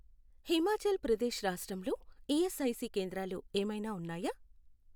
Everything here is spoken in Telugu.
హిమాచాల్ ప్రదేశ్రాష్ట్రంలో ఈఎస్ఐసి కేంద్రాలు ఏమైనా ఉన్నాయా?